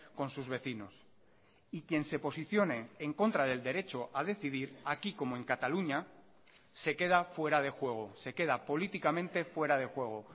con sus vecinos y quien se posicione en contra del derecho a decidir aquí como en cataluña se queda fuera de juego se queda políticamente fuera de juego